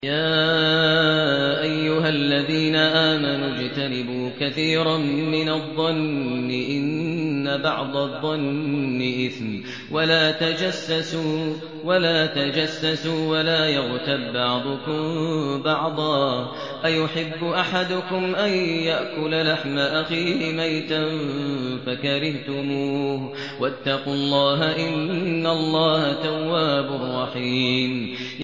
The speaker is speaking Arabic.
يَا أَيُّهَا الَّذِينَ آمَنُوا اجْتَنِبُوا كَثِيرًا مِّنَ الظَّنِّ إِنَّ بَعْضَ الظَّنِّ إِثْمٌ ۖ وَلَا تَجَسَّسُوا وَلَا يَغْتَب بَّعْضُكُم بَعْضًا ۚ أَيُحِبُّ أَحَدُكُمْ أَن يَأْكُلَ لَحْمَ أَخِيهِ مَيْتًا فَكَرِهْتُمُوهُ ۚ وَاتَّقُوا اللَّهَ ۚ إِنَّ اللَّهَ تَوَّابٌ رَّحِيمٌ